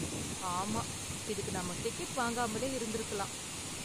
ஆமா, இதுக்கு நாம டிக்கெட் வாங்காமலே இருந்திருக்கலாம்.